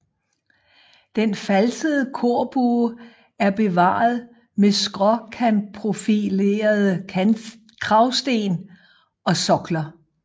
Den falsede korbue er bevaret med skråkantprofilerede kragsten og sokler